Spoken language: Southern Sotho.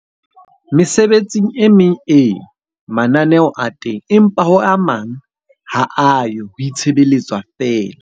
Mesebetsing e meng ee, mananeho a teng. Empa ho a mang ha a yo, ho itshebeletswa feela.